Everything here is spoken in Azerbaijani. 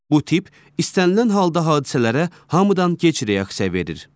Bu tip istənilən halda hadisələrə hamıdan gec reaksiya verir.